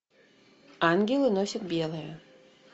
ангелы носят белое